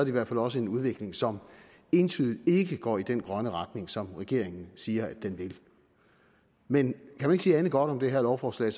i hvert fald også en udvikling som entydigt ikke går i den grønne retning som regeringen siger at den vil men kan man ikke sige andet godt om det her lovforslag